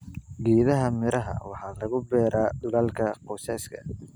Geedaha miraha waxaa lagu beeraa dhulalka qoysaska.